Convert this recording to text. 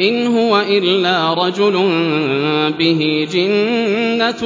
إِنْ هُوَ إِلَّا رَجُلٌ بِهِ جِنَّةٌ